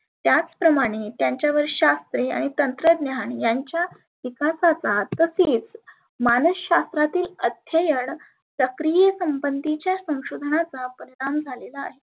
त्याच प्रमाने त्यांच्यावर शास्त्रे आणि तंत्रज्ञान यांच्या विकासाचा तसेच मानःशास्त्रातील अध्ययन प्रक्रिय संबंधी संशोधनाचा परिनाम झालेला आहे.